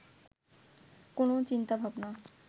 কোনও চিন্তাভাবনা